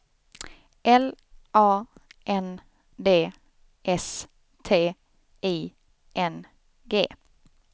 L A N D S T I N G